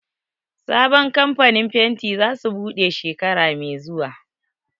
Sabon kamfanin fenti za su buɗe shekara mai zuwa